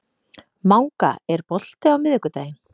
Manga, er bolti á miðvikudaginn?